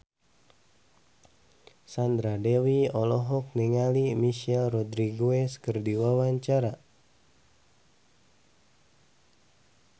Sandra Dewi olohok ningali Michelle Rodriguez keur diwawancara